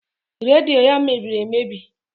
Redio ya mebiri emebi